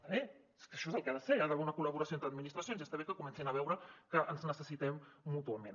està bé és que això és el que ha de ser hi ha d’haver una col·laboració entre administracions i està bé que comencin a veure que ens necessitem mútuament